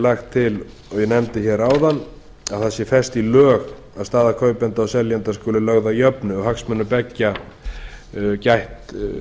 lagt til og ég nefndi hér áðan að það sé fest í lög að staða kaupenda og seljenda skulu lögð að jöfnu og hagsmunir beggja gætt